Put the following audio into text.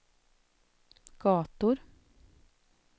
gator